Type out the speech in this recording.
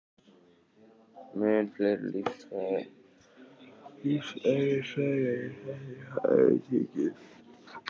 Mun fleiri lífeðlisfræðilegir þættir hafa verið nefndir, sérstaklega áhrif á miðtaugakerfið.